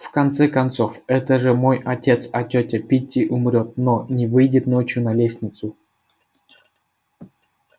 в конце концов это же мой отец а тётя питти умрёт но не выйдет ночью на лестницу